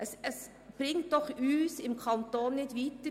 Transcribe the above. Das bringt doch den Kanton nicht weiter.